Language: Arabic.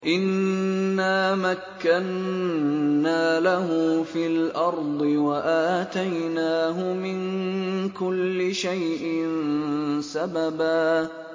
إِنَّا مَكَّنَّا لَهُ فِي الْأَرْضِ وَآتَيْنَاهُ مِن كُلِّ شَيْءٍ سَبَبًا